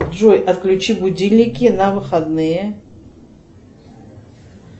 джой отключи будильники на выходные